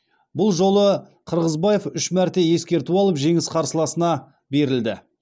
бұл жолы қырғызбаев үш мәрте ескерту алып жеңіс қарсыласына берілді